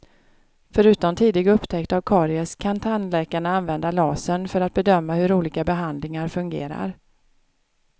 Förutom tidig upptäckt av karies kan tandläkarna använda lasern för att bedöma hur olika behandlingar fungerar.